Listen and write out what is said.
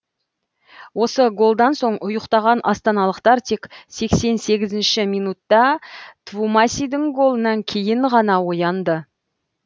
осы голдан соң ұйықтаған астаналықтар тек сексен сегізінші минутта твумасидің голынан кейін ғана оянды